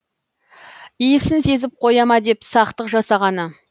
иісін сезіп қоя ма деп сақтық жасағаны